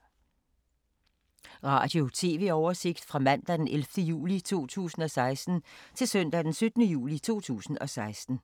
Radio/TV oversigt fra mandag d. 11. juli 2016 til søndag d. 17. juli 2016